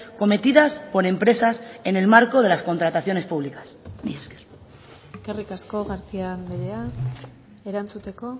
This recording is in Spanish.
cometidas por empresas en el marco de las contrataciones públicas mila esker eskerrik asko garcía andrea erantzuteko